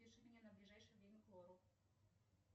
запиши меня на ближайшее время к лору